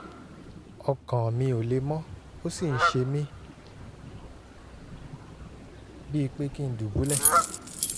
ọkàn mi ò le mọ́ ó sì ń ṣe mí bíi pé kí n dùbúlẹ̀